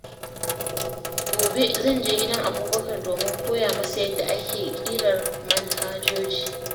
Gobe, zan je gidan Abubakar domin koya masa yadda ake ƙirƙirar manhajoji.